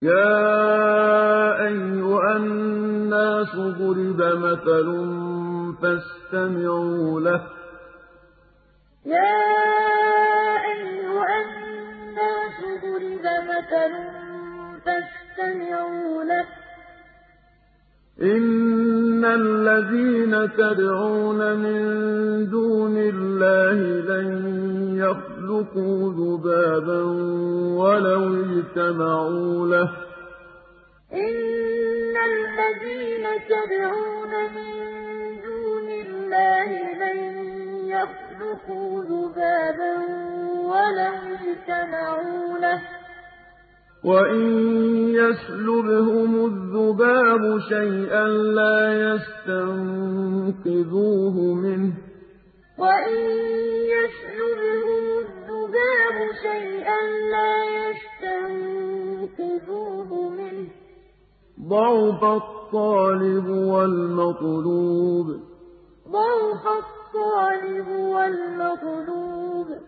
يَا أَيُّهَا النَّاسُ ضُرِبَ مَثَلٌ فَاسْتَمِعُوا لَهُ ۚ إِنَّ الَّذِينَ تَدْعُونَ مِن دُونِ اللَّهِ لَن يَخْلُقُوا ذُبَابًا وَلَوِ اجْتَمَعُوا لَهُ ۖ وَإِن يَسْلُبْهُمُ الذُّبَابُ شَيْئًا لَّا يَسْتَنقِذُوهُ مِنْهُ ۚ ضَعُفَ الطَّالِبُ وَالْمَطْلُوبُ يَا أَيُّهَا النَّاسُ ضُرِبَ مَثَلٌ فَاسْتَمِعُوا لَهُ ۚ إِنَّ الَّذِينَ تَدْعُونَ مِن دُونِ اللَّهِ لَن يَخْلُقُوا ذُبَابًا وَلَوِ اجْتَمَعُوا لَهُ ۖ وَإِن يَسْلُبْهُمُ الذُّبَابُ شَيْئًا لَّا يَسْتَنقِذُوهُ مِنْهُ ۚ ضَعُفَ الطَّالِبُ وَالْمَطْلُوبُ